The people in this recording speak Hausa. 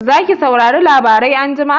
Zaki saurari labarai anjima?